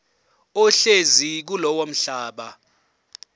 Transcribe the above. ohlezi kulowo mhlaba